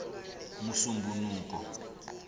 musumbunuko